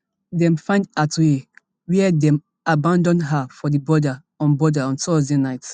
dem find atuhaire wia dem abandon her for di border on border on thursday night